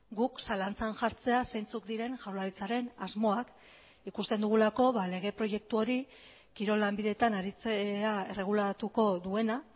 guk zalantzan jartzea zeintzuk diren jaurlaritzaren asmoak ikusten dugulako lege proiektu hori kirol lanbideetan aritzea erregulatuko duena